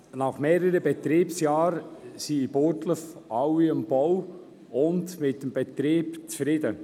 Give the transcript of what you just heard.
Nach mehreren Betriebsjahren sind in Burgdorf alle mit dem Bau und dem Betrieb zufrieden.